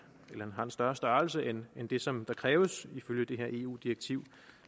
større størrelse end det som der kræves ifølge det her eu direktiv